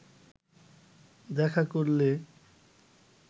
দেখা করলে